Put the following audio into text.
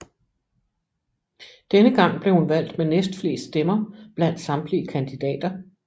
Denne gang blev hun valgt med næstflest stemmer blandt samtlige kandidater